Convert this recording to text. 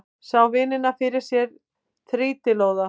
Sá vinina fyrir sér trítilóða.